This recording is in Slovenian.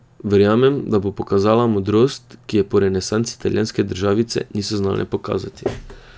Verjamem, da bo pokazala modrost, ki je po renesansi italijanske državice niso znale pokazati.